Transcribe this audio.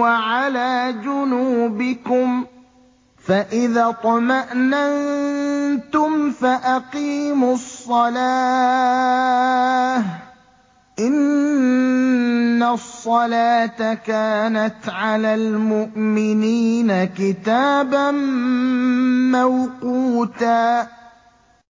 وَعَلَىٰ جُنُوبِكُمْ ۚ فَإِذَا اطْمَأْنَنتُمْ فَأَقِيمُوا الصَّلَاةَ ۚ إِنَّ الصَّلَاةَ كَانَتْ عَلَى الْمُؤْمِنِينَ كِتَابًا مَّوْقُوتًا